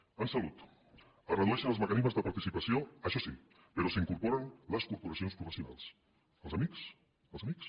en salut es redueixen els mecanismes de participació això sí però s’incorporen les corporacions professionals els amics els amics